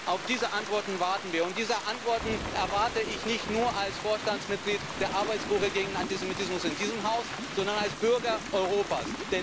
Auf diese Antworten warten wir, und diese Antworten erwarte ich nicht nur als Vorstandsmitglied der Arbeitsgruppe gegen Antisemitismus in diesem Haus, sondern als Bürger Europas.